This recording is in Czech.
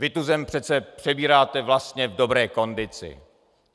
Vy tu zem přece přebíráte vlastně v dobré kondici.